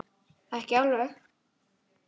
Ekki alveg.